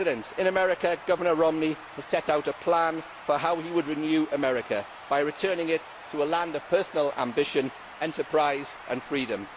In America, Governor Romney has set out a plan for how he would renew America by returning it to a land of personal ambition, enterprise and freedom.